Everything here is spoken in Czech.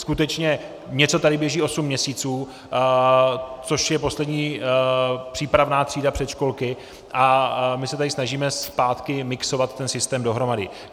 Skutečně něco tady běží osm měsíců, což je poslední přípravná třída předškolky, a my se tady snažíme zpátky mixovat ten systém dohromady.